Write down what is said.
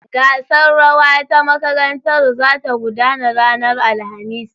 The School's Dancing competition is coming up on Thursday.